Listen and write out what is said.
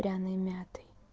пряной мятой